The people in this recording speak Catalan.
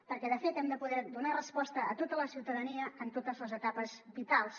perquè de fet hem de poder donar resposta a tota la ciutadania en totes les etapes vitals